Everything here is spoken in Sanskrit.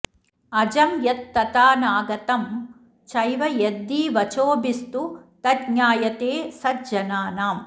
अजं यत् तथाऽनागतं चैव यद्धि वचोभिस्तु तज्ज्ञायते सज्जनानाम्